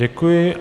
Děkuji.